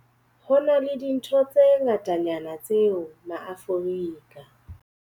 HO NA LE DINTHO tse ngatanyana tseo maAforika